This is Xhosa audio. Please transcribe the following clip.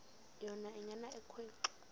yona ingena ekhwenxua